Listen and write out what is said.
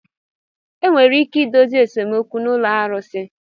Enwere ike idozi esemokwu na ụlọ arusi.